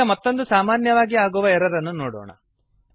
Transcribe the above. ಈಗ ಮತ್ತೊಂದು ಸಾಮಾನ್ಯವಾಗಿ ಆಗುವ ಎರರ್ ಅನ್ನು ನೋಡೋಣ